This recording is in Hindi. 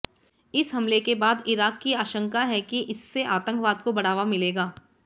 इस हमले के बाद ईराक की आशंका है कि इससे आतंकवाद को बढ़ावा मिलेगा